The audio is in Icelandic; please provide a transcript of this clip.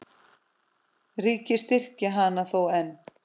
Ríkið styrkir hana þó enn.